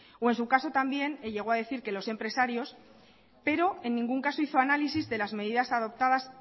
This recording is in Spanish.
o en su caso también llegó a decir que los empresarios pero en ningún caso hizo análisis de las medidas adoptadas